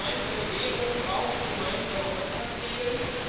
Eine gemeinsame Währung braucht gemeinsame Haushaltsregeln.